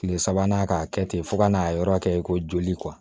Kile sabanan ka kɛ ten fo ka n'a yɔrɔ kɛ ko joli